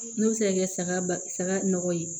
N'o bɛ se ka kɛ saga ba saga nɔgɔ ye